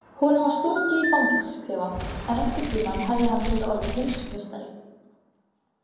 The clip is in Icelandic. Honum var stungið í fangelsisklefa en einhvern tíma hefði hann getað orðið heimsmeistari.